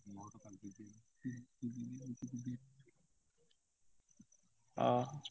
ହଁ।